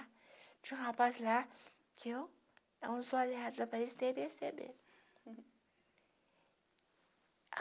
Tinha um rapaz lá, que eu não sou aliada para